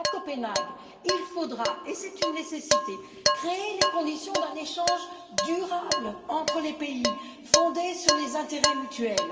À Copenhague, il faudra et c'est une nécessité créer les conditions d'un échange durable entre les pays, fondé sur les intérêts mutuels.